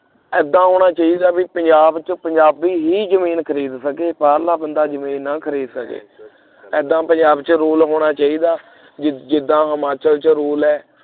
ਇੱਦਾਂ ਹੋਣਾ ਚਾਹੀਦਾ ਬਈ ਪੰਜਾਬ ਚ ਪੰਜਾਬੀ ਹੀ ਜਮੀਨ ਖਰੀਦ ਸਕੇ ਬਾਹਰਲਾ ਬੰਦਾ ਜਮੀਨ ਨਾ ਖ਼ਰੀਦ ਸਕੇ ਉਹਦਾ ਪੰਜਾਬ ਚ rule ਹੋਣਾ ਚਾਹੀਦਾ ਜਿੱਦ ਜਿੱਦਾਂ Himachal ਚ rule ਹੈ